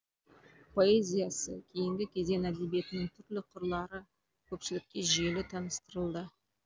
поэзиясы кейінгі кезең әдебиетінің түрлі қырлары көпшілікке жүйелі таныстырылды